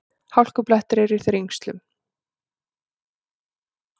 Hálkublettir eru í Þrengslum